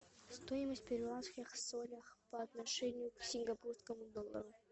стоимость перуанских солях по отношению к сингапурскому доллару